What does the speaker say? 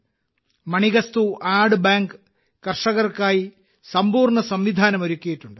മണികാസ്തു ആട് ബാങ്ക് കർഷകർക്കായി സമ്പൂർണ സംവിധാനം ഒരുക്കിയിട്ടുണ്ട്